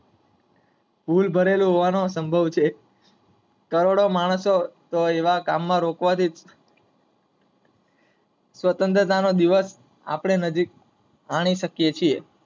ભૂલ ભરેલો હોવાનો સામ્બાવ છે. કરોડો માણસો આવા કામ માં રોકવા થી સ્વતંત્ર નો દિવસ નજીક આપડે મણિ શકીયે છે.